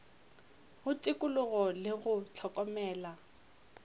go tikologo le go hlokomela